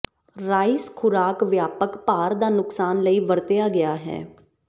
rice ਖੁਰਾਕ ਵਿਆਪਕ ਭਾਰ ਦਾ ਨੁਕਸਾਨ ਲਈ ਵਰਤਿਆ ਗਿਆ ਹੈ